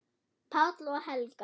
Páll og Helga.